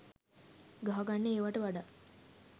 ගහගන්න ඒවට වඩා